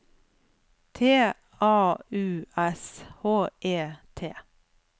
T A U S H E T